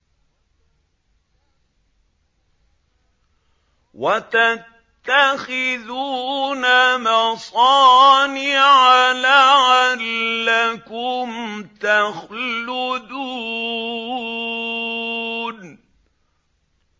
وَتَتَّخِذُونَ مَصَانِعَ لَعَلَّكُمْ تَخْلُدُونَ